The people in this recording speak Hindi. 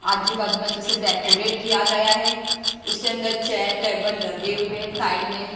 आजू-बाजू में अच्छे से डेकोरेट किया गया है उसके अंदर चेयर टेबल लगे हुए हैं साइड में।